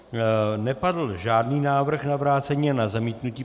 Nepadl žádný návrh na vrácení ani na zamítnutí.